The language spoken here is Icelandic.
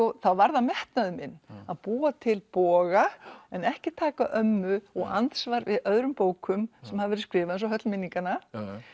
þá var það metnaður minn að búa til boga en ekki taka ömmu og andsvar við öðrum bókum sem hafa verið skrifaðar eins og höll minninganna